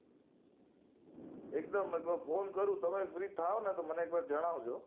એક દમ એટલે phone કરું તમે free થાવ ને તો મને એક વાર જણાવજો